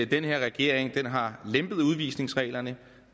den her regering har lempet udvisningsreglerne